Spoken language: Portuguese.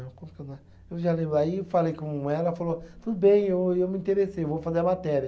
Eu já lembro aí, eu falei com ela, ela falou, bem, eu me interessei, vou fazer a matéria.